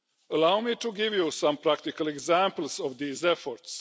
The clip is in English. Allow me to give you some practical examples of these efforts.